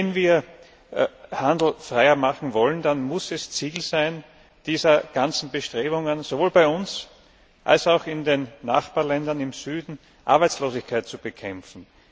Wenn wir den Handel freier machen wollen, dann muss das Ziel dieser ganzen Bestrebungen sowohl bei uns als auch in den Nachbarländern im Süden sein, Arbeitslosigkeit zu bekämpfen.